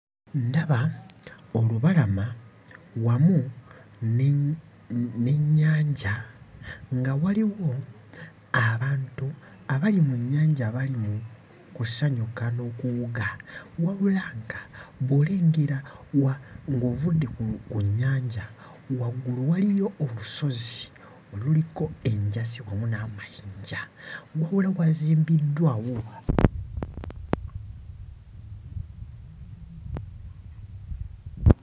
Ndaba olubalama wamu n'ennyanja nga waliwo abantu abali mu nnyanja abali mu kusanyuka n'okuwuga wabula nga bw'olengera ng'ovudde ku nnyanja, waggulu waliyo olusozi oluliko enjazi wamu n'amayinja, wabula wazimbiddwawo...